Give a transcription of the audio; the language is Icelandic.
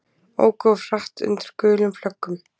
Óku of hratt undir gulum flöggum